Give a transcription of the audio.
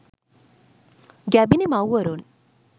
ගැබිණි මව්වරුන්